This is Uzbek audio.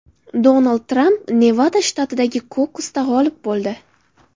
Donald Tramp Nevada shtatidagi kokusda g‘olib bo‘ldi .